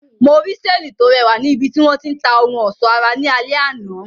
Mo rí seeni to rẹwà ni ibiti wọn ti ń ta ohun ọsọ ara ní alẹ àná.